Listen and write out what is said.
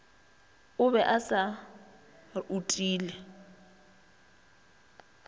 o be a se utile